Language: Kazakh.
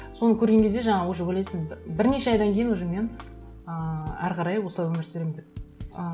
соны көрген кезде жаңағы уже ойлайсың бірнеше айдан кейін уже мен ыыы әрі қарай осылай өмір сүремін деп ы